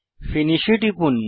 finish এ টিপুন